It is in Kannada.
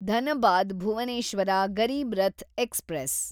ಧನಬಾದ್ ಭುವನೇಶ್ವರ ಗರೀಬ್ ರಥ್ ಎಕ್ಸ್‌ಪ್ರೆಸ್